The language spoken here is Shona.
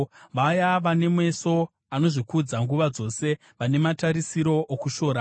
vaya vane meso anozvikudza nguva dzose, vane matarisiro okushora;